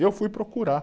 E eu fui procurar.